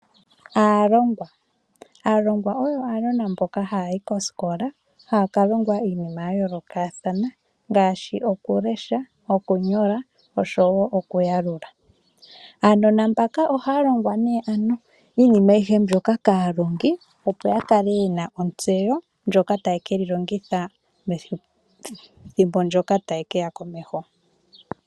Aalongwa Aalongwa oyo aanona mboka haya yi kosikola haya ka longwa iinima ya yoolokathana ngaashi okulesha noshowo okuyalula. Aanona mbaka ohaya longwa nduno iinima ayihe mbyoka kaalongi, opo ya kale ye na ontseyo ndjoka taye ke yi longitha methimbo ndyoka ta li ke ya komeho.